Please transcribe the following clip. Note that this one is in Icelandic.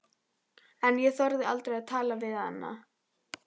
En ég þorði aldrei að tala við hana.